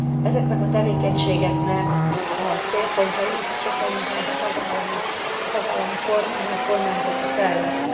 Ezeknek a tevékenységeknek a célpontjai sokkal inkább a tagállamok, a tagállami kormányok, kormányzati szervek.